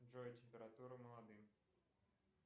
джой температура молодым